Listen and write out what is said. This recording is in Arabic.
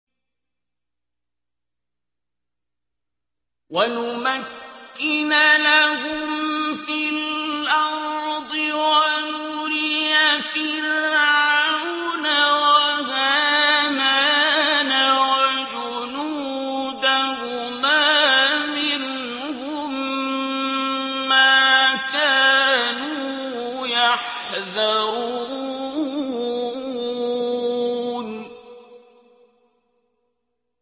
وَنُمَكِّنَ لَهُمْ فِي الْأَرْضِ وَنُرِيَ فِرْعَوْنَ وَهَامَانَ وَجُنُودَهُمَا مِنْهُم مَّا كَانُوا يَحْذَرُونَ